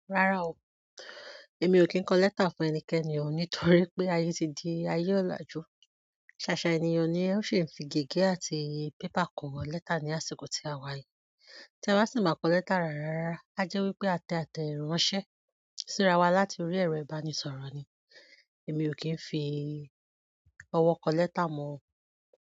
Rárá o, èmi ò kí ń kọ lẹ́tà fún ẹnikẹ́ni o, nítorí pé ayé ti di ayé ọ̀làjú. Sasa ènìyàn ni o si n fi gẹ́gẹ́ àti paper ko letter ni àsìkò ti a wa yìí tí ẹ bá sì máa kọ lẹ́tà rárá rárá, á jẹ́ wípé a tẹ àtẹ ránṣẹ́, síra wa láti orí ẹ̀rọ ìbánisọ̀rọ̀ ni. Èmi ò kí ń fi ọwọ́ kọ lẹ́tà mọ o.